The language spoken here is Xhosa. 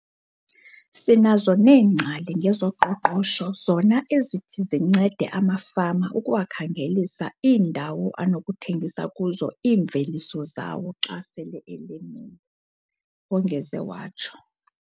"Sinazo neengcali ngezoqoqosho zona ezithi zincede amafama ukuwakhangelisa iindawo anokuthengisa kuzo iimveliso zawo xa sele emile," wongeze watsho.